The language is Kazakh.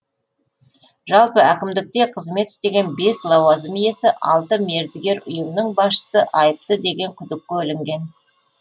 жалпы әкімдікте қызмет істеген бес лауазым иесі алты мердігер ұйымның басшысы айыпты деген күдікке ілінген